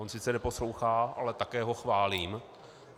On sice neposlouchá, ale také ho chválím.